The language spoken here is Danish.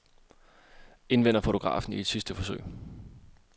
Indvender fotografen i et sidste forsøg.